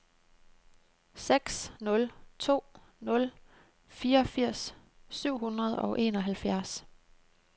seks nul to nul fireogfirs syv hundrede og enoghalvfjerds